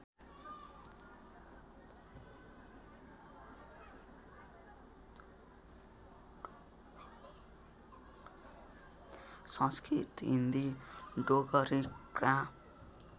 Sanskrit Hindi डोगरीग्राम